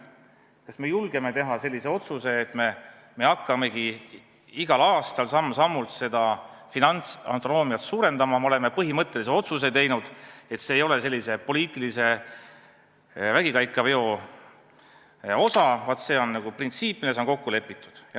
Kas me julgeme teha otsuse, et me hakkamegi igal aastal samm-sammult finantsautonoomiat suurendama, et me oleme põhimõttelise otsuse teinud ja see ei ole poliitilise vägikaikaveo osa, vaid see on printsiip, milles on kokku lepitud?